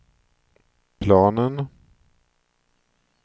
planen